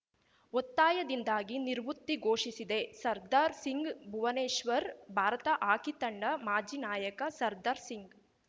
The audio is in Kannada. ಒತ್ತಾಯದಿಂದಾಗಿ ನಿರ್ವುತ್ತಿ ಘೋಷಿಸಿದೆ ಸರ್ದಾರ್‌ ಸಿಂಗ್‌ ಭುವನೇಶ್ವರ್‌ ಭಾರತ ಹಾಕಿ ತಂಡ ಮಾಜಿ ನಾಯಕ ಸರ್ದಾರ್‌ ಸಿಂಗ್‌